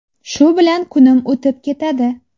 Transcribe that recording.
Shu bilan kunim o‘tib ketadi.